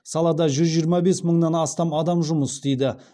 салада жүз жиырма бес мыңнан астам адам жұмыс істейді